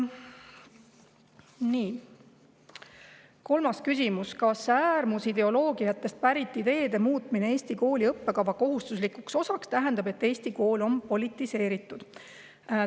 Nii, kolmas küsimus: "Kas äärmusideoloogiatest pärit ideede muutmine Eesti kooli õppekava kohustuslikuks osaks tähendab, et Eesti kool on politiseeritud?